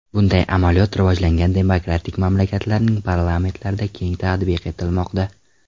Bunday amaliyot rivojlangan demokratik mamlakatlarning parlamentlarida keng tatbiq etilmoqda.